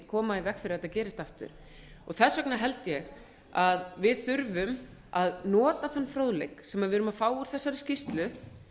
koma í veg fyrir að þetta gerist aftur þess vegna held ég að við þurfum að nota þann fróðleik sem við erum að fá úr þessari skýrslu